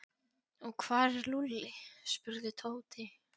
Og hvar er Lúlli? spurði Tóti.